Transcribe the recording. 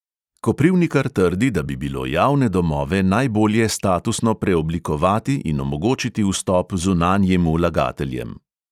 Koprivnikar trdi, da bi bilo javne domove najbolje statusno preoblikovati in omogočiti vstop zunanjim vlagateljem.